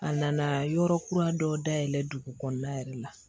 A nana yɔrɔ kura dɔ dayɛlɛ dugu kɔnɔna yɛrɛ la